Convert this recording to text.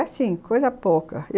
Assim, coisa pouca.